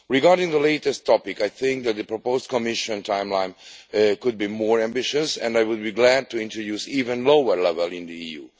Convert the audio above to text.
Regarding the latter topic, I think that the proposed Commission timeline could be more ambitious, and I would be glad to introduce even lower levels in the EU.